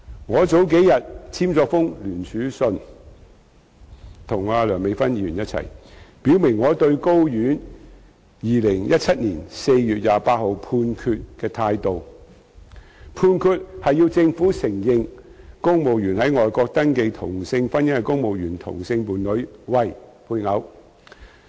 我數天前與梁美芬議員一同簽署聯署信，表明我對高等法院在2017年4月28日頒布的判決的態度，有關判決要求政府承認在外國登記同性婚姻的公務員同性伴侶為配偶。